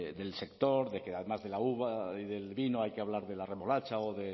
del sector de que además de la uva y del vino hay que hablar de la remolacha